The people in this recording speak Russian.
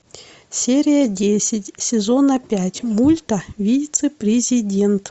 серия десять сезона пять мульта вице президент